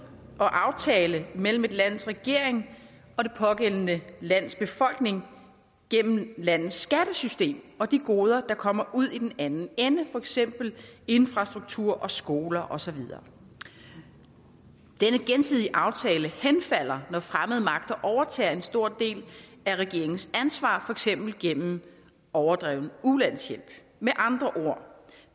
og aftale mellem et lands regering og det pågældende lands befolkning gennem landets skattesystem og de goder der kommer ud i den anden ende for eksempel infrastruktur skoler og så videre denne gensidige aftale henfalder når fremmede magter overtager en stor del af regeringens ansvar eksempel gennem overdreven ulandshjælp med andre ord